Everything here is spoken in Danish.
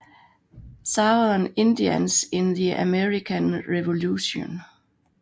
Southern Indians in the American Revolution